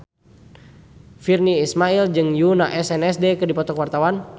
Virnie Ismail jeung Yoona SNSD keur dipoto ku wartawan